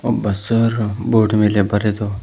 ಒಬ್ಬ sir board ಮೇಲೆ ಬರೆದು--